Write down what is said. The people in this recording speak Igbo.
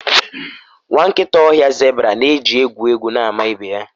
nwa nkịta ọhịa zebra na-eji egwu egwu na-ama ibe ya